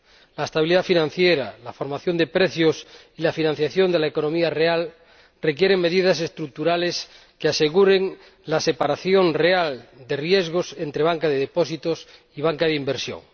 La estabilidad financiera, la formación de precios y la financiación de la economía real requieren medidas estructurales que aseguren la separación real de riesgos entre banca de depósitos y banca de inversión.